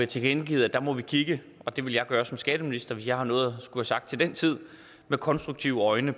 tilkendegivet at der må vi kigge og det vil jeg gøre som skatteminister hvis jeg har noget at skulle have sagt til den tid med konstruktive øjne